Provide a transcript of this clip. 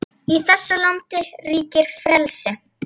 Í þessu landi ríkir frelsi!